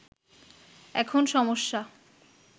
এখন সমস্যা